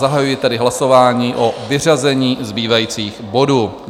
Zahajuji tedy hlasování o vyřazení zbývajících bodů.